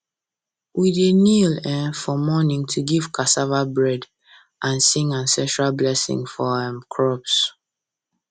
we dey kneel um for morning to give cassava bread and cassava bread and sing ancestral blessing for our um crops